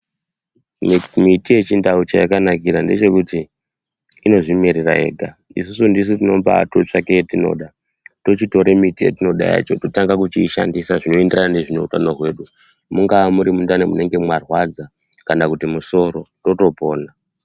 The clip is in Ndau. Miti yechindau cheyakanakira ndechekuti inozvimerera yega. Isusu ndisu tinombaatotsvange yetinoda tochitora miti yatinoda yacho totanga kuishandisa zvinoenderana neutano hwedu mungaa muri mundani munenge marwadza, kana kuti musoro totopona.